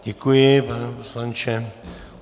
Děkuji, pane poslanče.